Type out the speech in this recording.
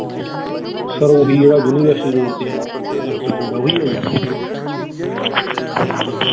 ਓਹੀ ਜਿਹੜਾ universityroad ਤੇ ਏ ਦਫਤਰ ਤੁਹਾਡਾ ਓਹੀ ਏ ਜੀ